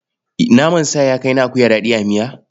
Naman sa ya kai na akuya daɗi a miya?